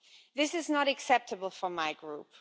This is not acceptable for my group.